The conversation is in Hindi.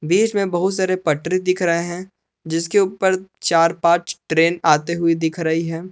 बीच में बहुत सारे पटरी दिख रहे हैं जिसके ऊपर चार पांच ट्रेन आते हुए दिख रही है।